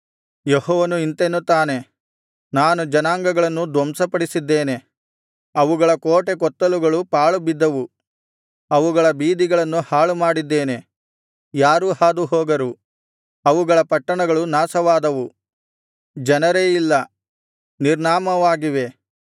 ಯೆಹೋವನು ಇಂತೆನ್ನುತ್ತಾನೆ ನಾನು ಜನಾಂಗಗಳನ್ನು ಧ್ವಂಸಪಡಿಸಿದ್ದೇನೆ ಅವುಗಳ ಕೋಟೆ ಕೊತ್ತಲುಗಳು ಪಾಳು ಬಿದ್ದವು ಅವುಗಳ ಬೀದಿಗಳನ್ನು ಹಾಳುಮಾಡಿದ್ದೇನೆ ಯಾರೂ ಹಾದುಹೋಗರು ಅವುಗಳ ಪಟ್ಟಣಗಳು ನಾಶವಾದವು ಜನರೇ ಇಲ್ಲ ನಿರ್ನಾಮವಾಗಿವೆ